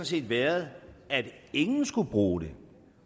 set været at ingen skulle bruge det